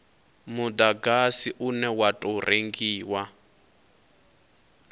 mudagasi une wa tou rengiwa